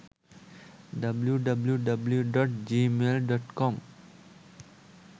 www.gmail.com